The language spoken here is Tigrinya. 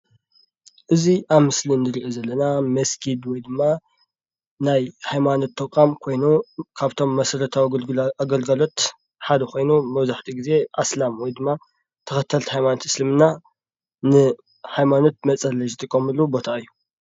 እዚ አብ ምስሊ እንሪኦ ዘለና መስጊድ ወይ ድማ ናይ ሃይማኖት ተቛም ኮይኑ፤ ካብቶም መሰረታዊ አገልግሎት ሓደ ኮይኑ መብዛሕቲኡ ግዜ አስላም ወይ ድማ ተከተልቲ ሃይማኖት እስልምና ንሃይማኖት መፀለይ ዝጥቀምሉ ቦታ እዩ፡፡